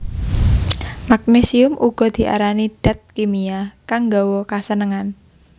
Magnésium uga diarani dat kimia kang nggawa kasenengan